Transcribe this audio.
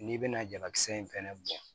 N'i bɛna jalakisɛ in fɛnɛ bɔ